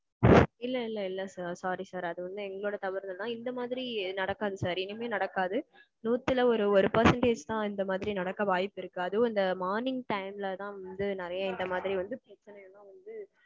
இல்ல இல்ல இல்ல sir sorry sir அது வந்து எங்களோட தவறுதான் இந்த மாறி நடக்காது sir இனிமே நடக்காது. நூத்துல ஒரு ஒரு percentage தான் இந்த மாறி நடக்க வாய்ப்பு இருக்கு அதுவும் இந்த morning time ல தான் வந்து நெறைய இந்த மாதிரி வந்து பிரச்சனைலாம் வந்து